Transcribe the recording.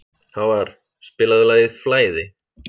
Hávarr, spilaðu lagið „Flæði“.